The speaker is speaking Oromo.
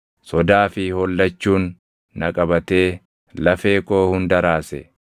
sodaa fi hollachuun na qabatee lafee koo hunda raase.